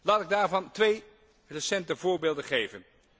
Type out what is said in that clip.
Laat ik daarvan twee recente voorbeelden geven.